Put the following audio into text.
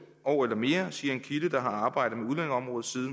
år eller mere siger en kilde der har arbejdet